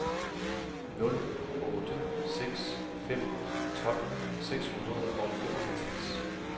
nul otte seks fem tolv seks hundrede og femoghalvtreds